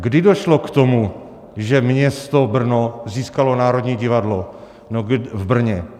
Kdy došlo k tomu, že město Brno získalo Národní divadlo v Brně?